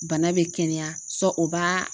Bana bɛ kɛnɛya o b'a